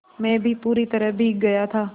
मैं भी पूरी तरह भीग गया था